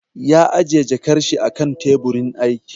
Ya ajiye jakar shi a kan teburin aiki